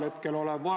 Aitäh teile!